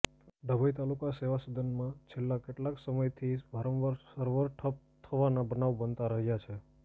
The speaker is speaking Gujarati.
ડભોઇ તાલુકા સેવા સદનમાં છેલ્લા કેટલાય સમયથી વારંવાર સર્વર ઠપ થવાના બનાવ બનતા રહ્યા છે